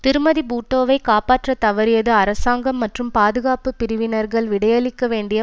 திருமதி பூட்டோவைக் காப்பாற்றத் தவறியது அரசாங்கம் மற்றும் பாதுகாப்பு பிரிவினர்கள் விடையளிக்க வேண்டிய